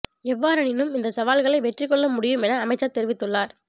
எவ்வாறெனினும் இந்த சவால்களை வெற்றி கொள்ள முடியும் என அமைமச்சர் தெரிவித்துள்ளார்